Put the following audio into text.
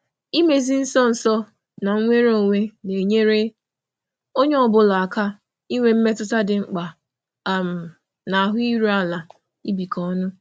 Idozi nso na nnwere onwe nnwere onwe na-enyere onye ọ bụla aka inwe mmetụta nke na-eto ya ma nwee ahụ iru ala n'ibikọ.